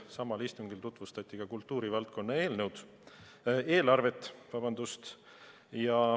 Samal istungil tutvustati ka kultuurivaldkonna eelarvet.